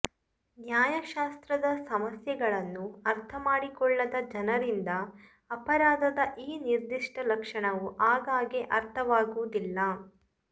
ನ್ಯಾಯಶಾಸ್ತ್ರದ ಸಮಸ್ಯೆಗಳನ್ನು ಅರ್ಥಮಾಡಿಕೊಳ್ಳದ ಜನರಿಂದ ಅಪರಾಧದ ಈ ನಿರ್ದಿಷ್ಟ ಲಕ್ಷಣವು ಆಗಾಗ್ಗೆ ಅರ್ಥವಾಗುವುದಿಲ್ಲ